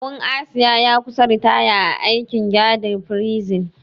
Kawun Asiya ya kusa ritaya a aikin gadin firsin.